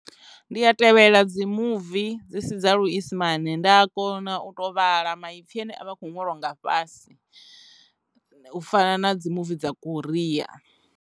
Ndi a tevhela dzi muvi dzi si dza luisimane nda a kona u to vhala maipfhi ane a vha khou ṅwaliwa nga fhasi u fana na dzi muvi dza koriya.